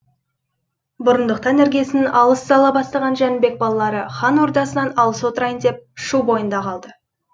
бұрындықтан іргесін алыс сала бастаған жәнібек балалары хан ордасынан алыс отырайын деп шу бойында қалды